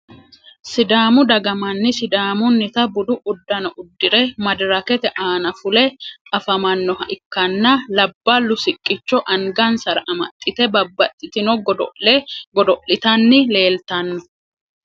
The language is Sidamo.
sidaamu dagga manni sidaamunnita budu udanno udire madirakete aanna fulle afamanoha ikanna labalu siqqicho angansara amaxitte babaxitino godo'le godo'litanni leelitanno.